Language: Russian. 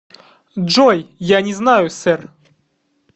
джой я не знаю сэр